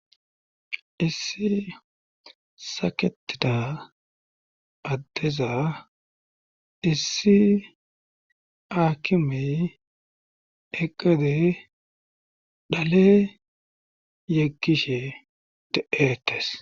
Issi saketida addeza issi aakimey eqede dhale yekkishe de'etes.